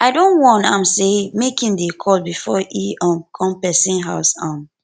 i don warn am sey make im dey call before e um come pesin house um